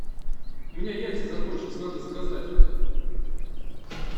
у меня яйца закончились надо заказать